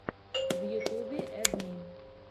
в ютубе эд ми